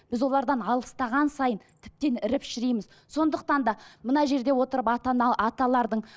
біз олардан алыстаған сайын тіптен іріп шірейміз сондықтан да мына жерде отырып аталардың